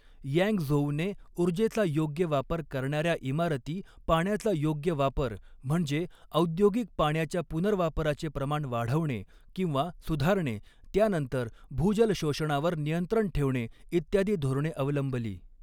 यँगझोउने उर्जेचा योग्य वापर करणाऱ्या इमारती पाण्याचा योग्य वापर म्हणजे औद्योगिक पाण्याच्या पुनर्वापराचे प्रमाण वाढवणे किंवा सुधारणे त्यानंतर भूजल शोषणावर नियंत्रण ठेवणे इत्यादी धोरणे अवलंबली.